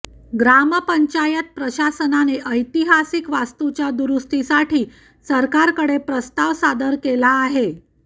ग्रामपंचायत प्रशासनाने ऐतिहासिक वास्तूच्या दुरुस्तीसाठी सरकारकडे प्रस्ताव सादर केला आहे